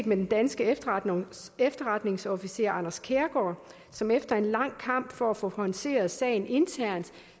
med den danske efterretningsofficer anders kærgaard som efter en lang kamp for at få håndteret sagen internt